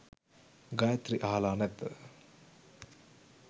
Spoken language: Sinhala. ගයත්‍රි අහලා නැද්ද